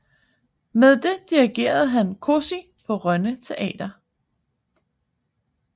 Med det dirigerede han Cosi på Rønne Theater